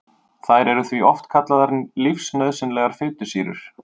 Þær eru því oft kallaðar lífsnauðsynlegar fitusýrur.